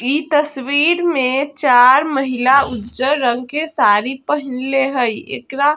इ तस्वीर में चार महिला उज्जर रंग के साड़ी पहिनले हेय एकरा --